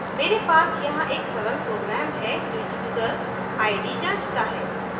मेरे पास यहाँ एक सरल program है जो यूज़र id जाँचता है